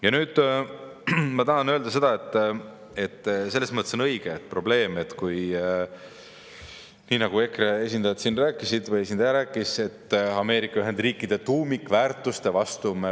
Ja nüüd ma tahan öelda seda, et see on tõesti probleem, nii nagu EKRE esindaja siin rääkis, et me võime minna Ameerika Ühendriikide tuumikväärtuste vastu.